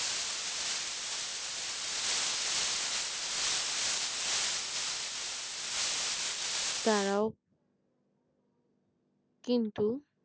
তারাও কিন্তু